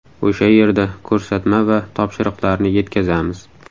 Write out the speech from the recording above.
O‘sha yerda ko‘rsatma va topshiriqlarni yetkazamiz.